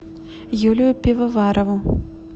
юлию пивоварову